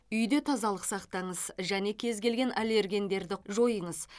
үйде тазалық сақтаңыз және кез келген аллергендерді жойыңыз